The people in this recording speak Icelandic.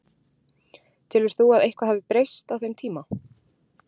Telur þú að eitthvað hafi breyst á þeim tíma?